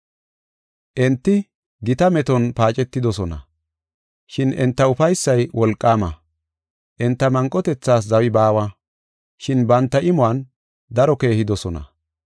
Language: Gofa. Enti gita meton paacetidosona, shin enta ufaysay wolqaama. Enta manqotethas zawi baawa, shin banta imuwan daro keehidosona.